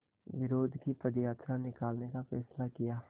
विरोध की पदयात्रा निकालने का फ़ैसला किया